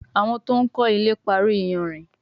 Àwọn to'n kò ilè parí iyanrìn